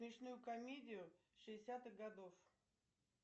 смешную комедию шестидесятых годов